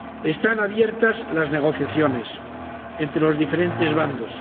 Están abiertas las negociaciones entre los diferentes bandos.